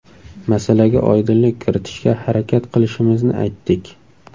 Masalaga oydinlik kiritishga harakat qilishimizni aytdik.